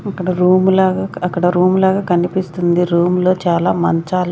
అక్కడ రూము లాగా అక్కడ రూమ్ లాగా కనిపిస్తుంది రూమ్ లో చాలా మంచాలు --